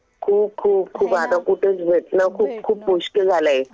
खूप खूप आता कुठेच भेटणं खूप मुश्किल झालंय.